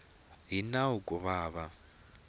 hi nawu ku va va